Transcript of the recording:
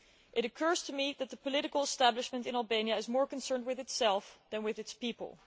It occurs to me that the political establishment in Albania is more concerned with itself than with its people.